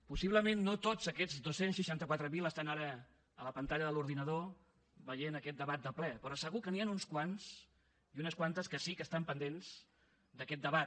possiblement no tots aquests dos cents i seixanta quatre mil estan ara a la pantalla de l’ordinador veient aquest debat de ple però segur que n’hi han uns quants i unes quantes que sí que estan pendents d’aquest debat